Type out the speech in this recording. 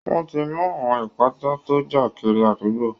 Wọ́n ti mú àwọn ìpátá tó ń ja kiri àdúgbo